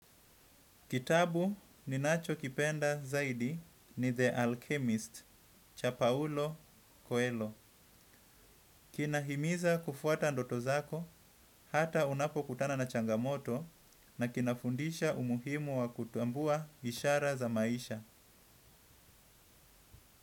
Kitabu ninachokipenda zaidi ni The Alchemist, Chapaulo Coelho. Kinahimiza kufuata ndoto zako hata unapokutana na changamoto na kinafundisha umuhimu wa kutambua ishara za maisha.